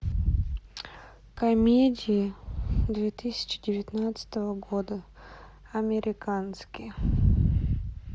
комедии две тысячи девятнадцатого года американские